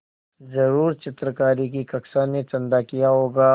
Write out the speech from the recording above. ज़रूर चित्रकारी की कक्षा ने चंदा किया होगा